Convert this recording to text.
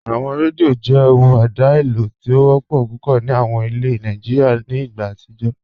Awọn rẹ́díò jẹ́ ọhun èdá eléo ti o wọpọ́ púpọ̀ ni awọn ìlẹ̀ Nàìjíríà nì ìgbà àtijó.